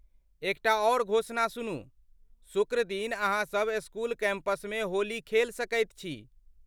एकटा आर घोषणा सुनू, शुक्रदिन अहाँ सभ स्कूल कैंपसमे होली खेल सकैत छी।